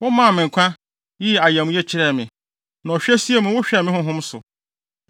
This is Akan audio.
Womaa me nkwa, yii ayamye kyerɛɛ me, na ɔhwɛsie mu wohwɛɛ me honhom so.